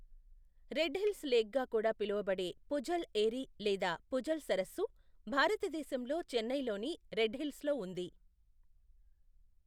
Red Hills లేక్గా కూడా పిలవబడే పుఝల్ ఏరి లేదా పుఝల్ సరస్సు భారతదేశంలో చెన్నై లోని రెడ్ హిల్స్లో ఉంది.